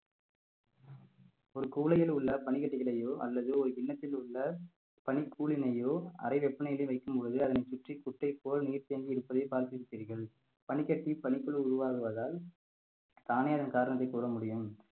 ஒரு குவளையில் உள்ள பனிக்கட்டிகளையோ அல்லது ஒரு கிண்ணத்தில் உள்ள பனிக்கூலினையோ அறை வெப்பநிலையில் வைக்கும் பொழுது அதனை சுற்றி குட்டை போல் நீர் தேங்கிஇருப்பதை பார்த்திருப்பிர்கள் பனிக்கட்டி பனிக்குழு உருவாகுவதால் தானே அதன் காரணத்தை கூற முடியும்